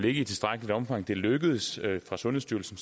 i tilstrækkeligt omfang er lykkedes for sundhedsstyrelsen